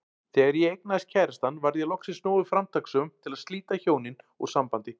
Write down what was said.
Þegar ég eignaðist kærastann varð ég loksins nógu framtakssöm til að slíta hjónin úr sambandi.